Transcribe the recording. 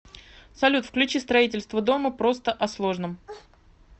салют включи строительство дома просто о сложном